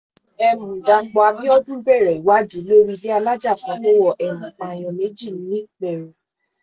um dápò abiodun bẹ̀rẹ̀ ìwádìí lórí ilé alájà kan tó wọ̀ um pààyàn méjì nìpẹ̀rù